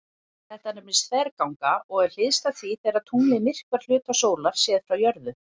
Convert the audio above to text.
Þetta nefnist þverganga og er hliðstætt því þegar tunglið myrkvar hluta sólar séð frá jörðu.